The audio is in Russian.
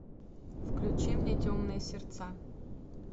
включи мне темные сердца